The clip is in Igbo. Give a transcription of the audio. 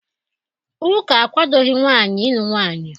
Ụka akwadoghị nwaanyị ịlụ nwaanyị